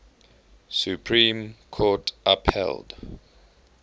supreme court upheld